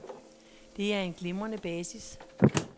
Det er en glimrende basis.